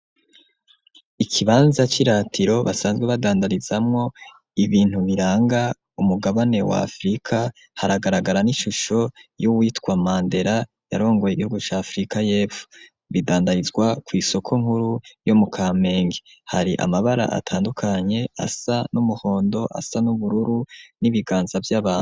ikibanza c'iratiro basanzwe badandarizamo ibintu biranga umugabane wa afirika haragaragara n'ishusho y'uwitwa mandera yarongoye igihugu ca afirika yepfo bidandarizwa ku isoko nkuru yo mu kamenge hari amabara atandukanye asa n'umuhondo asa n'ubururu n'ibiganza vy'abantu.